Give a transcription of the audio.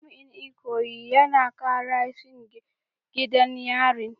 Jami’in Ikoyi yana kara shingen gidan yarin